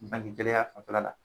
bang gɛlɛya fanbala